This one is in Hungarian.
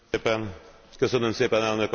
Köszönöm szépen, Elnök Asszony!